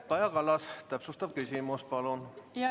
Kaja Kallas, täpsustav küsimus, palun!